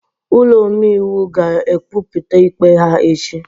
Ụlọ omeiwu ga-ekwupụta ikpe ha echi